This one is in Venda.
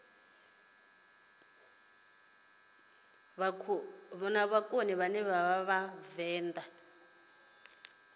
luvenḓa